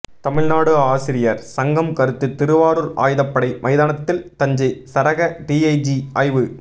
தமிழ்நாடு ஆசிரியர் சங்கம் கருத்து திருவாரூர் ஆயுதப்படை மைதானத்தில் தஞ்சை சரக டிஐஜி ஆய்வு